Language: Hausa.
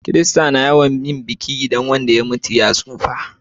Kirista na yawan yin biki in wanda ya mutu ya tsufa